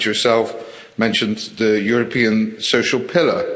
You yourself mentioned the European social pillar